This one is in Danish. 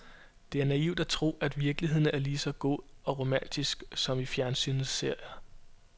Det er naivt at tro, at virkeligheden er lige så god og romantisk som i fjernsynets serier.